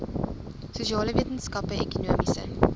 sosiale wetenskappe ekonomiese